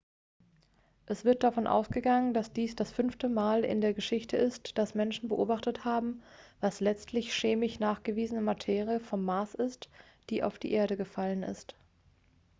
es wird davon ausgegangen dass dies das fünfte mal in der geschichte ist dass menschen beobachtet haben was letztlich chemisch nachgewiesene materie vom mars ist die auf die erde gefallen ist